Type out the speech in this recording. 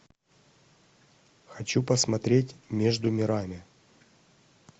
хочу посмотреть между мирами